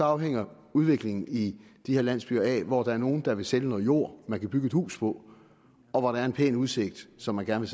afhænger udviklingen i de her landsbyer af hvor der er nogle der vil sælge noget jord man kan bygge et hus på og hvor der er en pæn udsigt som man gerne